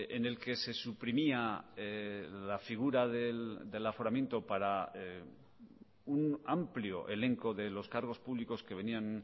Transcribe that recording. en el que se suprimía la figura del aforamiento para un amplio elenco de los cargos públicos que venían